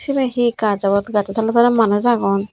cibe he gaj obak gajo tole tole manuj agon.